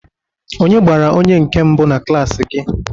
Onye gbara onye nke mbụ na klaasị gị?